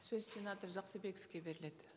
сөз сенатор жақсыбековке беріледі